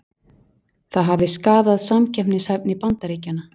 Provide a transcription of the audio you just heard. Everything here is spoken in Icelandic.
Það hafi skaðað samkeppnishæfni Bandaríkjanna